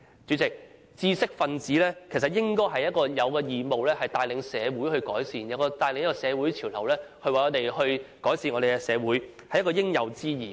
主席，知識分子應該有義務帶領社會改善，帶領社會潮流，改善社會，這是應有之義。